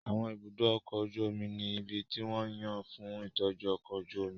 Àwọn ibùdó ọkọ̀ ojú omi ní ibi tí wón yàn fún ìtọ́jú ọkọ̀ ojú omi